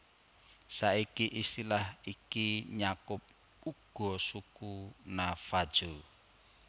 Saiki istilah iki nyakup uga suku Navajo